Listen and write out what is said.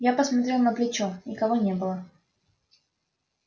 я посмотрел на плечо никого не было